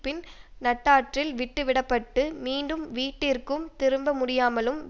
பின் நட்டாற்றில் விட்டுவிடப்பட்டு மீண்டும் வீட்டிற்கும் திரும்ப முடியாமலும்